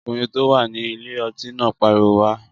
Ọkùnrin tó wà ní ilé ọtí náà pariwo wá!